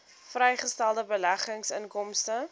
vrygestelde beleggingsinkomste